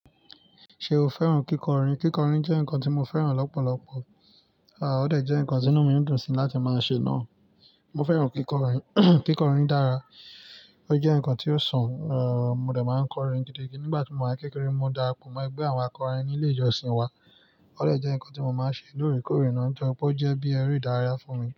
Ṣé o fẹ́ràn kíkọrin? Kíkọrin jẹ́ nǹkan tí mo fẹ́ràn lọ́pọ̀lọpọ̀, a ò dẹ̀ jẹ́ nǹkan tí inú mi dùn sí láti máa ṣe náà. Mo fẹ́ràn kíkọrin, kíkọrin dára, ó jẹ́ nǹkan tí ó sàn, eeh, mo dẹ̀ máa ń kọrin gidi. Nígbà tí mò ń wà kékeré, mo dàra po mọ́ ẹgbẹ́ àwọn akọrin ní ilé ìjọsìn wa, ó dẹ̀ jẹ́ nǹkan tí mo máa ń ṣe lóòrèkóòrè náà, o jọ pọ̀ jẹ́ bí ẹre ìdárayá fún mi.